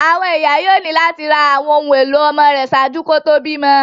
Àwọn iya yoo ni lati ra awọn ohun elo ọmọ rẹ ṣaaju kí ó tó bímọ